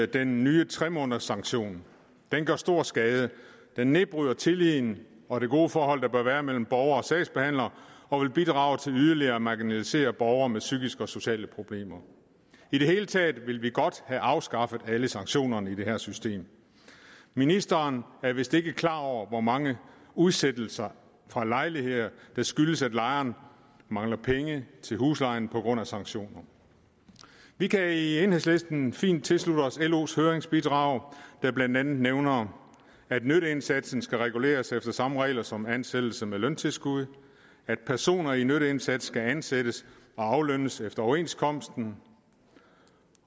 den nye tre månederssanktion den gør stor skade den nedbryder tilliden og det gode forhold der bør være mellem borgere og sagsbehandlere og vil bidrage til yderligere at marginalisere borgere med psykiske og sociale problemer i det hele taget vil vi godt have afskaffet alle sanktionerne i det her system ministeren er vist ikke klar over hvor mange udsættelser fra lejligheder der skyldes at lejeren mangler penge til huslejen på grund af sanktioner vi kan i enhedslisten fint tilslutte os los høringsbidrag der blandt andet nævner at nytteindsatsen skal reguleres efter samme regler som ansættelse med løntilskud at personer i nytteindsats skal ansættes og aflønnes efter overenskomsten